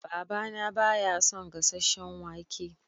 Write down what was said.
Baba na ba ya son gasasen wake.